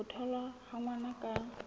ho tholwa ha ngwana ka